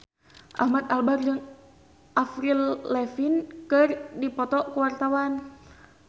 Ahmad Albar jeung Avril Lavigne keur dipoto ku wartawan